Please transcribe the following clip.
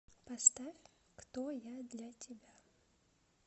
поставь кто я для тебя